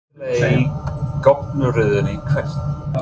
Aftarlega í goggunarröðinni Hvert?